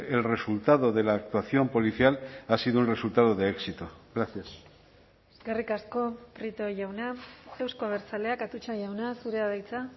el resultado de la actuación policial ha sido el resultado de éxito gracias eskerrik asko prieto jauna euzko abertzaleak atutxa jauna zurea da hitza